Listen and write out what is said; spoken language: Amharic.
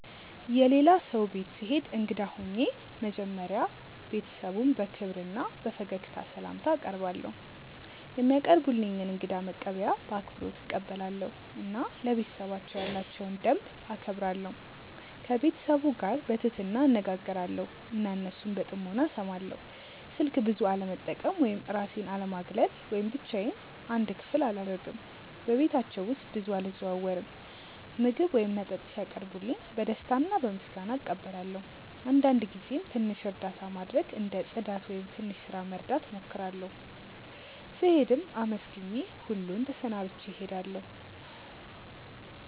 የሌላ ሰው ቤት ስሄድ እንግዳ ሆኜ መጀመሪያ ቤተሰቡን በክብር እና በፈገግታ ስላምታ አቀርባለው፧ የሚያቀርቡልኝን እንግዳ መቀበያ በአክብሮት እቀበላለሁ እና ለቤተሰባቸው ያላቸውን ደንብ እከብራለሁ። ከቤተሰቡ ጋር በትህትና እነጋገራለው እና እነሱን በጥሞና እስማለው። ስልክ ብዙ አለመጠቀም ወይም እራሴን አለማግለል ወይም ብቻዮን አንድ ክፍል አላረግም በቤታቸው ውስጥ ብዙ አልዘዋወርም። ምግብ ወይም መጠጥ ሲያቀርቡልኝ በደስታ እና በምስጋና እቀበላለው አንዳንድ ጊዜም ትንሽ እርዳታ ማድረግ እንደ ጽዳት ወይም ትንሽ ስራ መርዳት እሞክራለሁ። ስሄድም አመስግኜ ሁሉን ተሰናብቼ እሄዳለሁ።